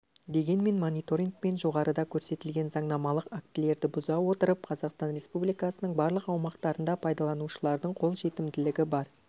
дегенмен мониторингпен жоғарыда көрсетілген заңнамалық актілерді бұза отырып қазақстан республикасының барлық аумақтарында пайдаланушылардың қол жетімділігі бар